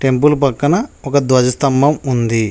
Temple పక్కన ఒక ధ్వజస్తంభం ఉంది.